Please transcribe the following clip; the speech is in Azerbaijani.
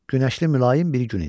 Günəşli mülayim bir gün idi.